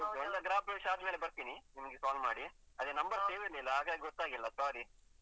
ಮತ್ತೆ ಗೃಹ ಪ್ರವೇಶ ಆದ್ಮೇಲೆ ಬರ್ತೀನಿ ನಿಮ್ಗೆ call ಮಾಡಿ ಅದೇ number save ಇರ್ಲಿಲ್ಲ. ಹಾಗಾಗಿ ಗೊತ್ತಾಗ್ಲಿಲ್ಲ sorry.